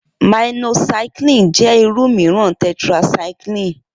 Minocycline jẹ́ irú mìíràn tetracycline